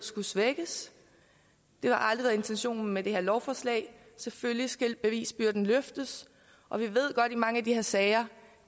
det har aldrig været intentionen med det her lovforslag selvfølgelig skal bevisbyrden løftes og vi ved godt i mange af de her sager